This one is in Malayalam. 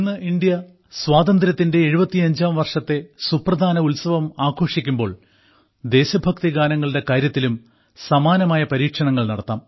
ഇന്ന് ഇന്ത്യ സ്വാതന്ത്ര്യത്തിന്റെ 75ാം വർഷത്തെ സുപ്രധാന ഉത്സവം ആഘോഷിക്കുമ്പോൾ ദേശഭക്തി ഗാനങ്ങളുടെ കാര്യത്തിലും സമാനമായ പരീക്ഷണങ്ങൾ നടത്താം